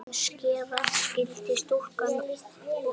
Umskera skyldi stúlkur og drengi.